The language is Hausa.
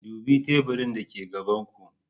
Dubi teburin dake gaban ku.